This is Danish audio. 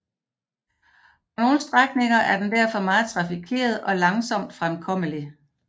På nogle strækninger er den derfor meget trafikeret og langsomt fremkommelig